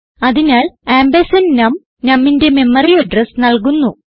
അതിനാൽ ആംപർസാൻഡ് നം numന്റെ മെമ്മറി അഡ്രസ് നൽകുന്നു